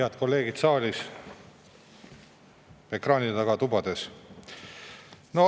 Head kolleegid saalis ja ekraanide taga tubades!